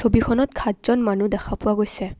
ছবিখনত খাতজন মানুহ দেখা পোৱা গৈছে।